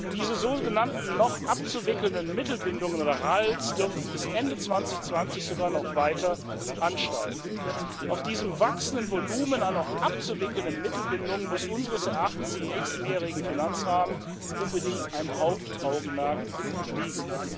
Diese sogenannten noch abzuwickelnden Mittelbindungen oder RAL dürften bis Ende 2020 sogar noch weiter ansteigen. Auf diesem wachsenden Volumen an noch abzuwickelnden Mittelbindungen muss unseres Erachtens im nächsten mehrjährigen Finanzrahmen unbedingt ein Hauptaugenmerk liegen.